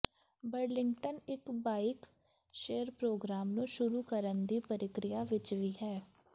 Burlington ਇੱਕ bike share programme ਨੂੰ ਸ਼ੁਰੂ ਕਰਨ ਦੀ ਪ੍ਰਕਿਰਿਆ ਵਿੱਚ ਵੀ ਹੈ